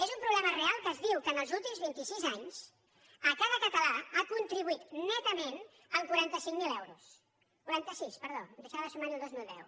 és un problema real que es diu que en els últims vint i sis anys cada català ha contribuït netament amb quaranta cinc mil euros quaranta sis perdó em deixava de sumar hi el dos mil deu